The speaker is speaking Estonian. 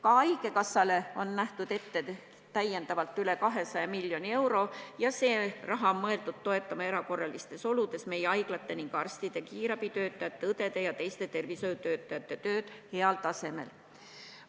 Ka haigekassale on ette nähtud täiendavalt üle 200 miljoni euro ja see raha on mõeldud toetama erakorralistes oludes meie haiglate, meie arstide, kiirabitöötajate, õdede ja teiste tervisehoiutöötajate tööd heal tasemel.